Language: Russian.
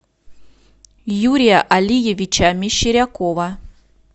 юрия алиевича мещерякова